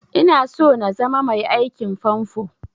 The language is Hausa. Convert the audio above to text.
Ina so na zama mai aikin famfo